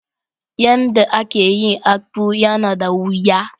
Yan da a ke yin " akpu" ya na da wuya.